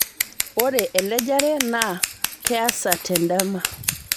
Ore elejare naa keasa tendama